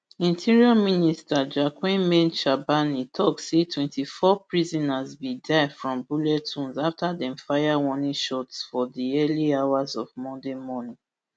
interior minister jacquemain shabani tok say twenty-four prisoners bin die from bullet wounds afta dem fire warning shots for di early hours of monday morning